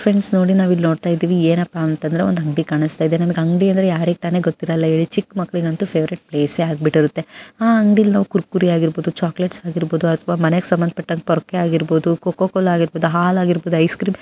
friends ನೋಡಿ ನಾವಿಲ್ ನೋಡ್ತಾ ಇದ್ದೀವಿ ಏನಪ್ಪಾ ಅಂದರೆ ಒಂದ್ ಅಂಗಡಿ ಕಾಣಿಸ್ತಾ ಇದೆ ಅಂಗಡಿ ಅಂದ್ರೆ ಚಿಕ್ಕ ಮಕ್ಕಳಿಗಂತೂ ಫೇವರಿಟ್ ಪ್ಲೇಸ್ ಆಗ್ಬಿಟ್ಟಿರುತ್ತೆ ಕುರ್ಕುರೆ ಚಾಕಲೇಟ್ಸ್ ಆಗಿರಬಹುದು ಕೋಕೋ ಕೋಲಾ ಹಾಲು ಐಸ್ ಕ್ರೀಮ್ --